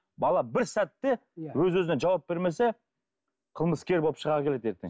бала бір сәтте өз өзіне жауап бермесе қылмыскер болып шыға келеді ертең